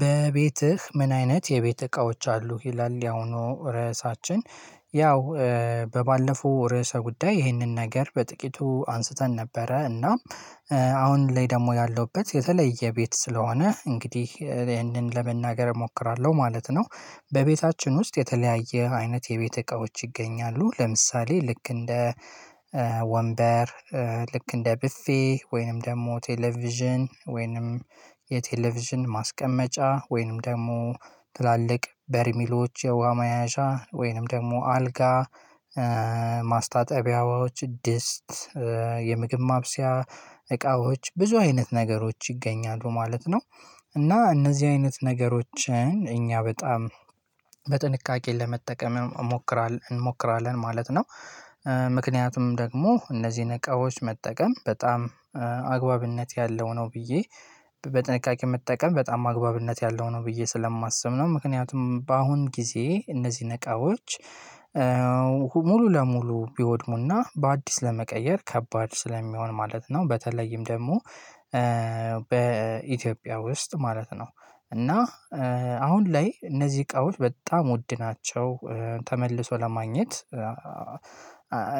በቤትህ? ምን አይነት የቤት እቃዎች አሉ ይላል ያውኑ ርዕሳችን ያው በባለፈው ርዕሰ ጉዳይ ይህንን ነገር በጥቂቱ አንስተን ነበረ እና አሁን ላይ ደግሞ ያለሁበት የተለየ ቤት ስለሆነ እንግዲህ ይሄንን ለመናገር እሞክራለሁ ማለት ነው። በቤታችን ውስጥ የተለያየ አይነት የቤት እቃዎች ይገኛሉ ለምሳሌ ልክ እንደ ወንበር ልክ እንደ ቡፌ ወይንም ደግሞ ቴሌቪዥን ወይንም የቴሌቪዥን ማስቀመጫ ወይንም ደግሞ ትላልቅ በርሚሎች የውሃ መያዣ ወይንም ደግሞ አልጋ ማስታጠቢያዎች ድስት የምግብ ማብሰያ እቃዎች ብዙ አይነት ነገሮች ይገኛሉ ማለት ነው። እና እነዚህ አይነት ነገሮችን እኛ በጣም በጥንቃቄ ለመጠቀም እንሞክራለን ማለት ነው። ምክንያቱም ደግሞ እነዚህን እቃዎች መጠቀም በጣም አግባብነት ያለው ነው ብዬ በጥንቃቄ መጠቀም በጣም አግባብነት ያለው ነው ብዬ ስለማስብ ነው። ምክንያቱም በአሁን ጊዜ እነዚህ እቃዎች ሙሉ ለሙሉ ቢወድሙና በአዲስ ለመቀየር ከባድ ስለሚሆን ማለት ነው። በተለይም ደግሞ በኢትዮጵያ ውስጥ ማለት ነው። እና አሁን ላይ እነዚህ እቃዎች በጣም ውድ ናቸው። ተመልሶ ለማግኘት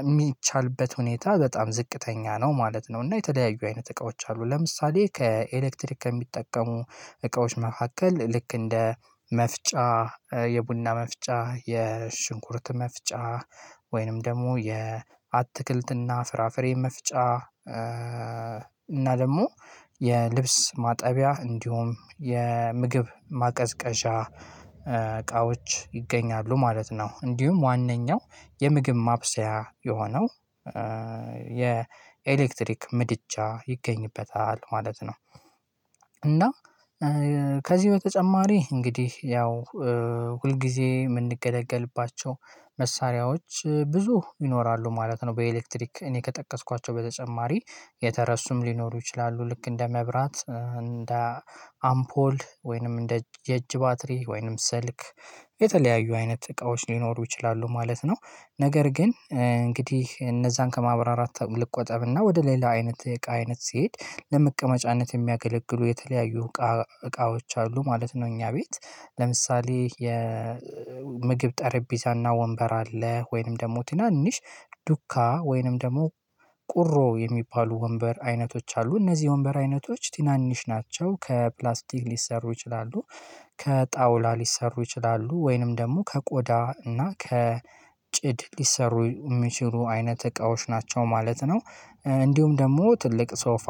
የሚቻልበት ሁኔታ በጣም ዝቅተኛ ነው ማለት ነው። እና የተለያዩ አይነት እቃዎች አሉ። ለምሳሌ ከኤሌክትሪክ ከሚጠቀሙ እቃዎች መካከል ልክ እንደ መፍጫ የቡና መፍጫ የሽንኩርት መፍጫ ወይንም ደግሞ የአትክልትና ፍራፍሬ መፍጫ እና ደግሞ የልብስ ማጠቢያ እንዲሁም የምግብ ማቀዝቀዣ እቃዎች ይገኛሉ ማለት ነው። እንዲሁም ዋናው የምግብ ማብሰያ የሆነው የኤሌክትሪክ ምድጃ ይገኝበታል ማለት ነው። እና ከዚህ በተጨማሪ እንግዲህ ያው ሁልጊዜ የምንገለገልባቸው መሳሪያዎች ብዙ ይኖራሉ ማለት ነው። በኤሌክትሪክ እኔ ከጠቀስኳቸው በተጨማሪ የተረሱም ሊኖሩ ይችላሉ። ልክ እንደ መብራት እንደ አምፖል ወይንም እንደ የእጅ ባትሪ ወይንም ስልክ የተለያዩ አይነት እቃዎች ሊኖሩ ይችላሉ ማለት ነው። ነገር ግን እንግዲህ እነዛን ከማብራራት ልቆጠብና ወደ ሌላ አይነት እቃ አይነት ሲሄድ ለመቀመጫነት የሚያገለግሉ የተለያዩ እቃዎች አሉ ማለት ነው። እኛ ቤት ለምሳሌ የ ምግብ ጠረጴዛና ወንበር አለ። ወይንም ደግሞ ትናንሽ ዱካ ወይንም ደግሞ ቁሮ የሚባሉ ወንበር አይነቶች አሉ እነዚህ ወንበር አይነቶች ትናንሽ ናቸው። ከፕላስቲክ ሊሰሩ ይችላሉ ከጣውላ ሊሰሩ ይችላሉ ወይንም ደግሞ ከቆዳ እና ከጭድ ሊሰሩ የሚችሉ አይነት እቃዎች ናቸው ማለት ነው። እንዲሁም ደግሞ ትልቅ ሶፋ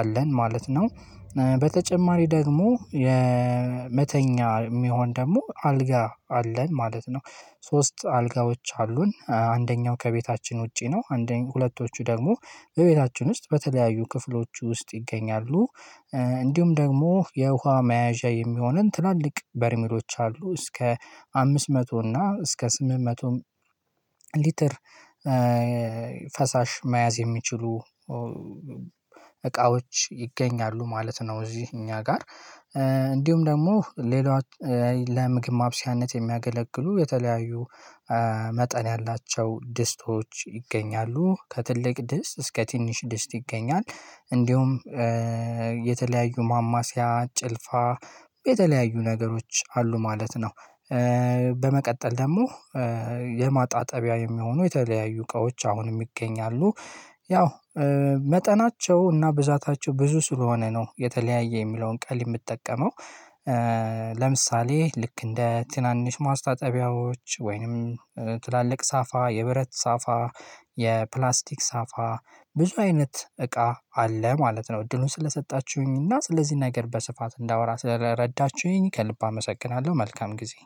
አለን ማለት ነው። በተጨማሪ ደግሞ የመተኛ የሚሆን ደግሞ አልጋ አለን ማለት ነው። ሶስት አልጋዎች አሉን አንደኛው ከቤታችን ውጪ ነው። አንደኛው ሁለቶቹ ደግሞ በቤታችን ውስጥ በተለያዩ ክፍሎች ውስጥ ይገኛሉ። እንዲሁም ደግሞ የውሃ መያዣ የሚሆነን ትላልቅ በርሚሎች አሉ እስከ አምስት መቶ እና እስከ ስምንት መቶ ሊትር ፈሳሽ መያዝ የሚችሉ እቃዎች ይገኛሉ ማለት ነው። እዚህ እኛ ጋር እንዲሁም ደግሞ ሌላ ለምግብ ማብሰያነት የሚያገለግሉ የተለያዩ መጠን ያላቸው ድስቶች ይገኛሉ ከትልቅ ድስት እስከ ትንሽ ድስት ይገኛል እንዲሁም የተለያዩ ማማሲያ ጭልፋ የተለያዩ ነገሮች አሉ ማለት ነው። በመቀጠል ደግሞ የማጣጠቢያ የሚሆኑ የተለያዩ እቃዎች አሁንም ይገኛሉ ያው መጠናቸው እና ብዛታቸው ብዙ ስለሆነ ነው የተለያየ የሚለውን ቃል የምጠቀመው። ለምሳሌ ልክ እንደ ትናንሽ ማስታጠቢያዎች ወይንም ትላልቅ ሳፋ የብረት ሳፋ የፕላስቲክ ሳፋ ብዙ አይነት እቃ አለ ማለት ነው። እድሉን ስለሰጣችሁኝ እና ስለዚህ ነገር በስፋት እንዳወራ ስለረዳችሁኝ ከልብ አመሰግናለሁ መልካም ጊዜ